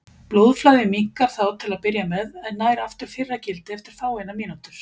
Blóðflæðið minnkar þá til að byrja með en nær aftur fyrra gildi eftir fáeinar mínútur.